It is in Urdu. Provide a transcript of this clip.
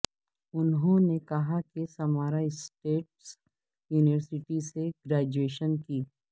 انہوں نے کہا کہ سمارا اسٹیٹ یونیورسٹی سے گریجویشن کی